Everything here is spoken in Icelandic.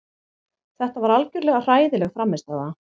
Þetta var algjörlega hræðileg frammistaða.